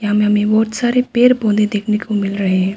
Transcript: यहां में हमे बहोत सारे पेड़ पौधे देखने को मिल रहे हैं।